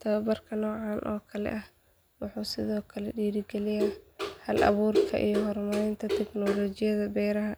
Tababarka noocan oo kale ah wuxuu sidoo kale dhiirrigeliyaa hal abuurka iyo horumarinta teknoolajiyada beeraha,